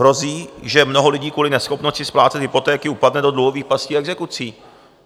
Hrozí, že mnoho lidí kvůli neschopnosti splácet hypotéky upadne do dluhových pastí exekucí.